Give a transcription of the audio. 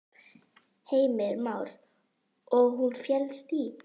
Heimir Már: Og hún felst í?